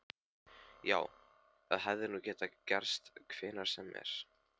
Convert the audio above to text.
Já, það hefði nú getað gerst hvenær sem er.